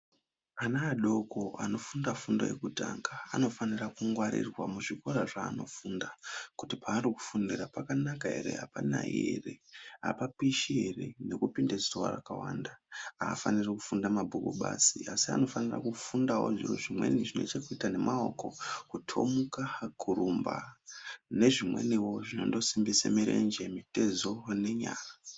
Ana adoko anofunda fundo yepashi anofanirwa kugwarirwa kuti paari kufundira pakanaka here apanayi ere apapishi ere nekupinda zuwa rakawnda anofanirawo kufundira kutomuka kurumba nezvimweniwo zvinosimbisa mirenje mitezo nenyara.